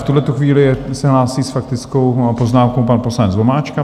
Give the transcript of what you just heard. V tuhletu chvíli se hlásí s faktickou poznámkou pan poslanec Vomáčka.